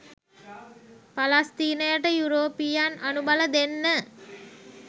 පලස්තීනයට යුරෝපීයයන් අනුබල දෙන්න